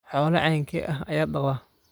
Xoolo caynkee ah ayaad dhaqdaa?